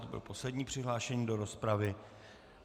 To byl poslední přihlášený do rozpravy.